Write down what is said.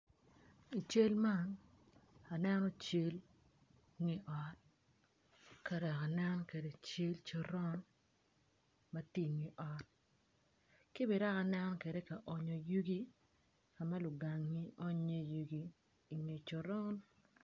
I cal man aneno cal nge ot ka dok aneno kede cal coron matye inge ot ki dok bene aceno kwede kaonyo yugi kama lugang-ngi onyo i iye yugi inge coron